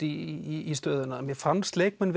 í stöðuna mér fannst leikmenn